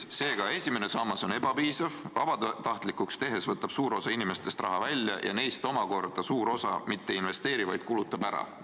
Seega, esimene sammas on ebapiisav, kui sammas vabatahtlikuks teha, siis võtab suur osa inimestest raha välja ja neist omakorda suur osa mitte ei investeeri, vaid kulutab selle ära.